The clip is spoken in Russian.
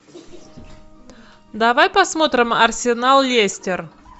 давай посмотрим арсенал лестер